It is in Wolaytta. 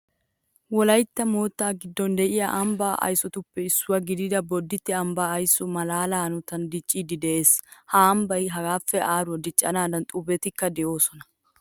Wolaytta moottaa giddon de'iya ambbaa aysotuppe issuwa gidida bodditte ambbaa aysoy maalaaliya hanotan dicciiddi de'ees. Ha ambbay hagaappe aaruwa diccennaadan xubbiyabatikka de'oosona.